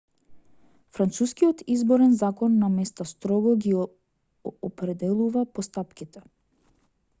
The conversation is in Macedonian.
францускиот изборен закон наместа строго ги определува постапките